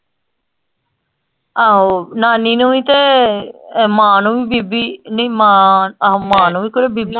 ਆਹੋ ਨਾਨੀ ਨੂੰ ਵੀ ਤੇ ਅ ਮਾਂ ਨੂੰ ਵੀ ਬੀਬੀ ਨਈ ਮਾਂ ਆਹੋ ਮਾਂ ਨੂੰ ਵੀ ਕੋਈ ਬੀਬੀ